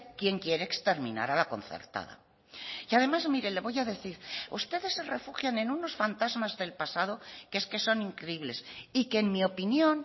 quién quiere exterminar a la concertada y además mire le voy a decir ustedes se refugian en unos fantasmas del pasado que es que son increíbles y que en mi opinión